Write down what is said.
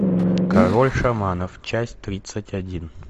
король шаманов часть тридцать один